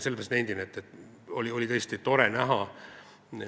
Nii et on tore seda eelnõu siin näha.